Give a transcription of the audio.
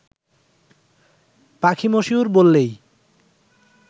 পাখি মশিউর বললেই